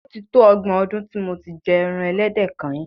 O ti tó ọgbọ̀n ọdún tí mo ti jẹ ẹran ẹlẹ́dẹ̀ kányìn.